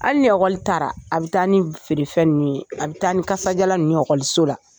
Hali ni ekɔli taara, a bɛ taa ni feerefɛn ninnu ye. A bɛ taa ni kasa jalan ninnu ye ekɔliso la.